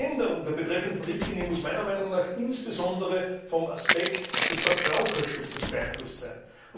Die Änderung der betreffenden Richtlinie muss meiner Meinung nach insbesondere vom Aspekt des Verbraucherschutzes beeinflusst sein.